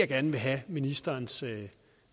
gerne vil have ministerens